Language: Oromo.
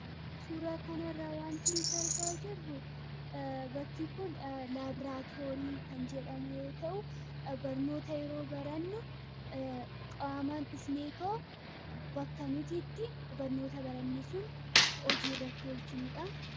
suuraa kanarraa wanti nuta argaa jirru bakki kun laabraatoorii kan jedhamu yoo ta'u barnoota yeroo barannu qaaman dhufneekoo bakka nutitti barnoota barannisun hojiirratti olchinuudha